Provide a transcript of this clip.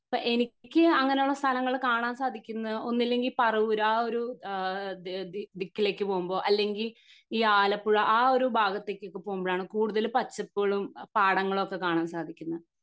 അപ്പൊ എനിക്ക് അങ്ങിനെ ഉള്ള സ്ഥലങ്ങൾ കാണാൻ സാധിക്കുന്ന ഒന്നില്ലെങ്കി പറവൂർ ആ ഒരു ഏഹ് ദി ദിക്കിലേക്ക് പോകുമ്പോ അല്ലെങ്കി ഈ ആലപ്പുഴ ആ ഒരു ഭാഗത്തേക്കൊക്കെ പോകുമ്പോഴാണ് കൂടുതൽ പച്ചപ്പുകളും പാടങ്ങളും ഒക്കെ കാണാൻ സാധിക്കുന്നെ